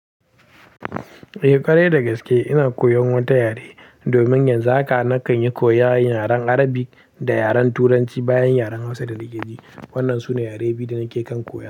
Eh ƙwarai da gaske ina koyan wata yare, domin yanzu haka na kan yi koyan yaren Arabi da yaren Turanci bayan yaren Hausa da Likaci. Waɗannan sune yare biyu da nake kan koya.